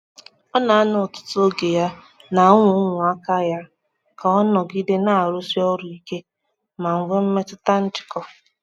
ọ na-anọ ọtutu ogeya na ụmụ ụmụ aka ya ka ọ nọgide na-arụsi ọrụ ike ma nwee mmetụta njikọ.